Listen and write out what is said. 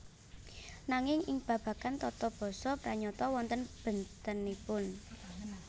Nanging ing babagan tata basa pranyata wonten bèntenipun